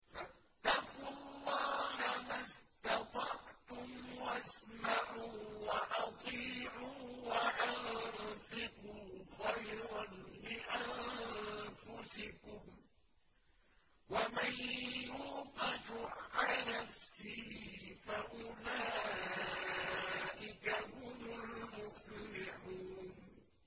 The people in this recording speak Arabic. فَاتَّقُوا اللَّهَ مَا اسْتَطَعْتُمْ وَاسْمَعُوا وَأَطِيعُوا وَأَنفِقُوا خَيْرًا لِّأَنفُسِكُمْ ۗ وَمَن يُوقَ شُحَّ نَفْسِهِ فَأُولَٰئِكَ هُمُ الْمُفْلِحُونَ